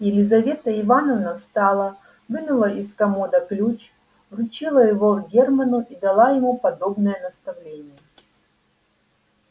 елизавета ивановна встала вынула из комода ключ вручила его германну и дала ему подробное наставление